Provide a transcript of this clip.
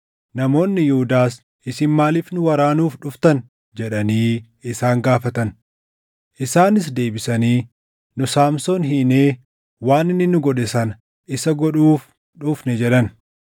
Namoonni Yihuudaas, “Isin maaliif nu waraanuuf dhuftan?” jedhanii isaan gaafatan. Isaanis deebisanii, “Nu Saamsoon hiinee waan inni nu godhe sana isa godhuuf dhufne” jedhan.